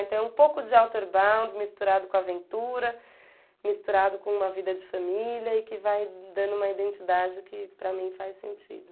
Então é um pouco de Outerbound misturado com aventura, misturado com uma vida de família e que vai dando uma identidade que para mim faz sentido.